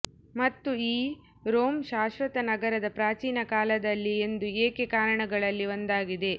ಮತ್ತು ಈ ರೋಮ್ ಶಾಶ್ವತ ನಗರದ ಪ್ರಾಚೀನ ಕಾಲದಲ್ಲಿ ಎಂದು ಏಕೆ ಕಾರಣಗಳಲ್ಲಿ ಒಂದಾಗಿದೆ